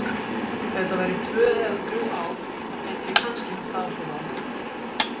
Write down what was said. Ef þetta væru tvö eða þrjú ár þá gæti ég kannski haft áhrif á þá.